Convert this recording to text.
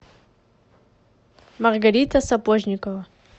маргарита сапожникова